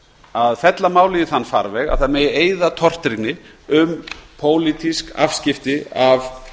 að fella málið í þann farveg að það megi eyða tortryggni um pólitísk afskipti af